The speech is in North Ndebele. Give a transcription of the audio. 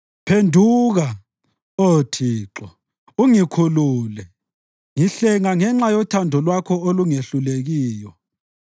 Phenduka, Oh Thixo, ungikhulule; ngihlenga ngenxa yothando lwakho olungehlulekiyo.